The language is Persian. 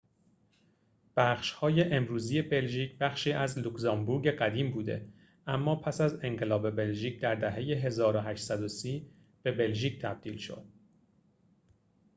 بخش‌های امروزی بلژیک بخشی از لوکزامبورگ قدیم بوده اما پس از انقلاب بلژیک در دهه ۱۸۳۰ به بلژیک تبدیل شد